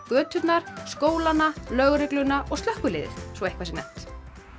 göturnar skólana lögregluna og slökkviliðið svo eitthvað sé nefnt